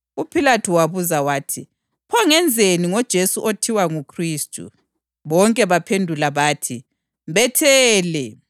UPhilathu wabuza wathi, “Pho ngenzeni ngoJesu othiwa nguKhristu?” Bonke bamphendula bathi, “Mbethele!”